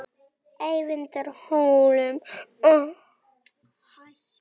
Eyvindarhólum